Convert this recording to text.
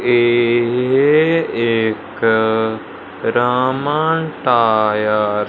ये एक रामा टायर --